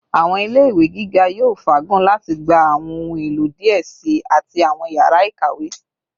Awọn ile ile-iwe giga yoo faagun lati gba awọn ohun elo diẹ sii ati awọn yara ikawe